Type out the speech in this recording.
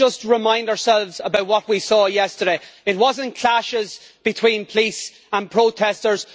Let us just remind ourselves about what we saw yesterday it was not clashes between police and protesters.